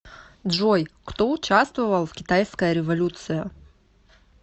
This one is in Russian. джой кто участвовал в китайская революция